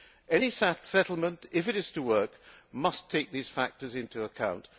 Any settlement, if it is to work, must take these factors into account.